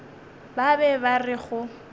ba be ba re go